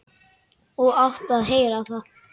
Og áttum að heyra það.